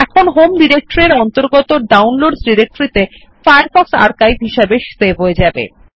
এখন home directory এর অন্তর্গত ডাউনলোডসহ ডিরেকটরি ত়ে ফায়ারফক্স আর্কাইভ সেভ হয়ে যাবে